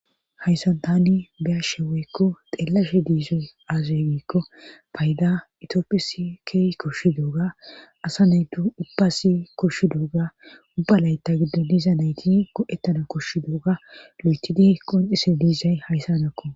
hayssan tani biyashe woykko xeelashe diizoy aazay giikko payda itioophisi keey koshshi dooga asa naydu ubbasi koshshi dooga ubbalayta giddon diza nayti go7ettana koshshi dooga lo7eti dihey qon isi diizay hayssa nakko